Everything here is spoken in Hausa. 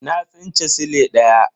Na tsinci sile daya.